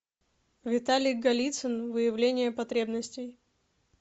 виталий голицын выявление потребностей